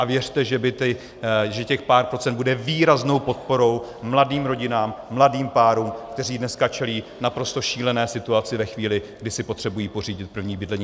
A věřte, že těch pár procent bude výraznou podporou mladým rodinám, mladým párům, které dneska čelí naprosto šílené situaci ve chvíli, kdy si potřebují pořídit první bydlení.